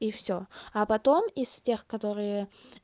и всё а потом из тех которые